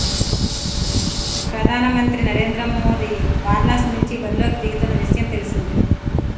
ప్రధానమంత్రి నరేంద్ర మోదీ వారణాసి నుంచి బరిలోకి దిగుతున్న విషయం తెలిసిందే